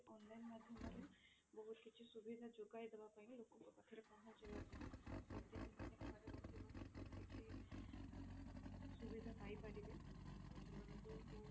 online ମାଧ୍ୟମରେ ବହୁତ କିଛି ସୁବିଧା ଯୋଗାଇ ଦେବା ପାଇଁ ବି ଲୋକଙ୍କ ପାଖରେ ପହଞ୍ଚିବା ପାଇଁ ଯେମିତି ସେମାନେ ଘରେ ବସି ବସି ସବୁ କିଛି ଅ ସୁବିଧା ପାଇ ପାରିବେ ଆଉ ସେମାନଙ୍କୁ ବହୁତ